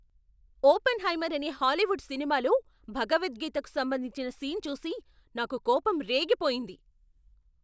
"Oppenheimer" అనే Hollywood సినిమాలో భగవద్గీతకు సంబంధించిన సీన్ చూసి నాకు కోపం రేగిపోయింది.